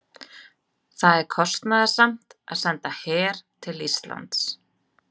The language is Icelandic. Það er kostnaðarsamt að senda her til Íslands.